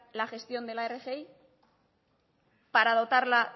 la gestión de la rgi para dotarla